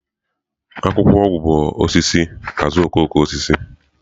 Akwụkwọ ọgwụ bụ osisi azuokokoosisi.